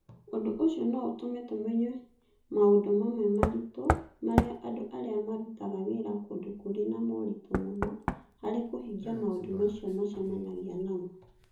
Ũndũ ũcio no ũtũme tũmenye maũndũ mamwe maritũ marĩa andũ arĩa marutaga wĩra kũndũ kũrĩ na moritũ mũno harĩ kũhingia maũndũ macio macemanagia namo.